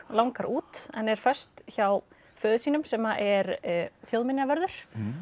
langar út en er föst hjá föður sínum sem er þjóðminjavörður